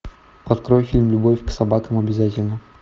открой фильм любовь к собакам обязательна